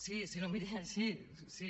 sí no em mirin així sí